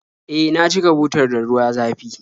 E, na cika butar da ruwa zafi